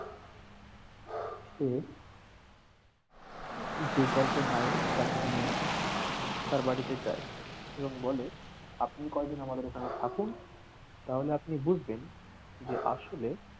সে যে গল্পের নায়ক তাকে নিয়ে তার বাড়িতে যায় এবং বলে আপনি কয়দিন আমাদের এখানে থাকুন তাহলে আপনি বুঝবেন যে আসলে